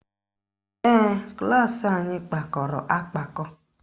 Ee, klaasị anyị kpakọrọ akpakọ